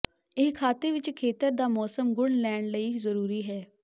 ਇਹ ਖਾਤੇ ਵਿੱਚ ਖੇਤਰ ਦਾ ਮੌਸਮ ਗੁਣ ਲੈਣ ਲਈ ਜ਼ਰੂਰੀ ਹੈ